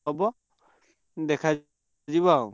ହବ ଦେଖା ଯିବ ଆଉ।